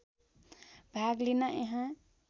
भाग लिन यहाँ